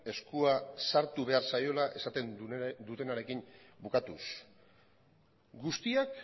eskua sartu behar zaiola esaten dutenarekin bukatuz guztiak